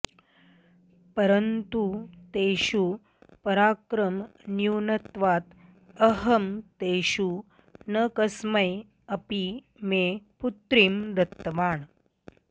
परन्तु तेषु पराक्रमन्यूनत्वात् अहं तेषु न कस्मै अपि मे पुत्रीं दत्तवान्